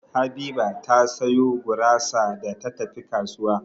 Habiba ta sayo gurasa da ta tafi kasuwa.